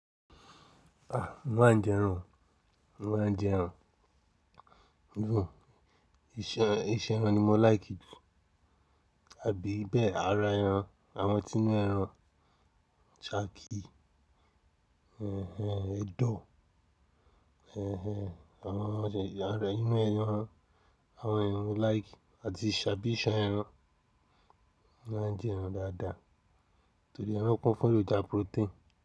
A, mo máa ń jẹ ẹran, mo máa ń jẹ ẹran. Jú, iṣan ẹran ni mo láì kí ju. Àbí bẹ́ẹ̀, ara ẹran, àwọn tínú ẹran, ṣaki, ẹdọ, ẹh ẹn, àwọn ọ̀sẹ̀, ara inú ẹran, àwọn ẹran mi like àti iṣan ẹran. Mo maa n jẹ ẹran daadaa, tori ẹran kun f'eroja protein.